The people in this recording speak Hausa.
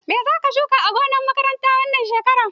Mai zaka shuka a gonar makaranta wannan shekaran?